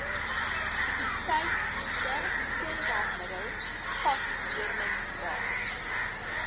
sekuriteitsdienste skoonmaakmiddels vakleerlingraad